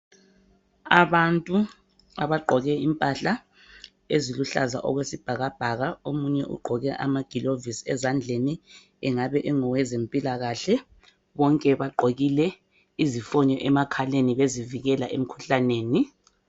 Abantu abagqoke impahla eziluhlaza okwesibhakabhaka omunye ugqoke amagilovisi ezandleni engabe ongowe zempilakahle bonke bagqokile izifonyo emakhaleni bezivikela emkhuhlaneni.